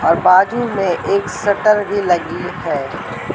और बाजू में एक शटर भी लगी है।